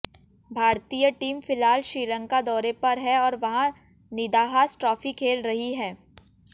भारतीय टीम फिलहाल श्रीलंका दौरे पर है और वहां निदाहास ट्रॉफी खेल रही है